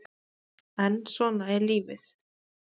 En svona er lífið